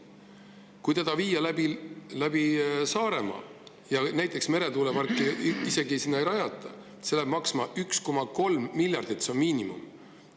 Kui see viia läbi Saaremaa ja isegi kui meretuuleparki sinna ei rajata, see läheb maksma 1,3 miljardit – see on miinimum.